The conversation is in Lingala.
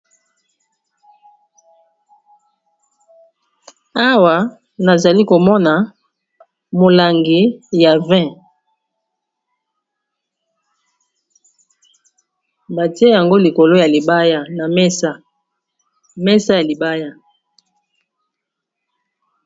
Awa nazali komona molangi ya vin batie yango likolo ya libaya na mesa mesa ya libaya.